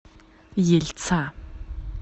ельца